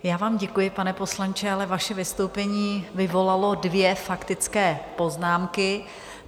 Já vám děkuji, pane poslanče, ale vaše vystoupení vyvolalo dvě faktické poznámky.